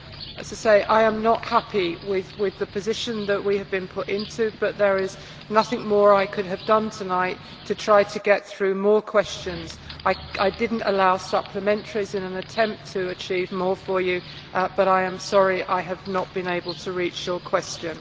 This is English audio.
As I say, I am not happy with the position that we have been put in, but there is nothing more I could have done tonight to try to get through more questions. I did not allow supplementaries in an attempt to achieve more for you, but I am sorry I have not been able to reach your question.